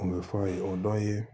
O bɛ fɔ aw ye o dɔ ye